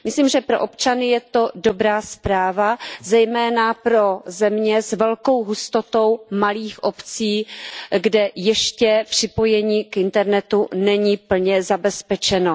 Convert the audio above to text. Myslím, že pro občany je to dobrá zpráva, zejména pro země s velkou hustotou malých obcí, kde ještě připojení k internetu není plně zabezpečeno.